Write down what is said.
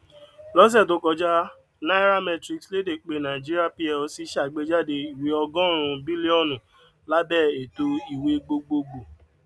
lọsẹ tó kọjá nairametrics léde pé nàìjíríà plc ṣàgbéjáde ìwé ọgọrùnún bílíọnù lábẹ ètò ìwé gbogbogbò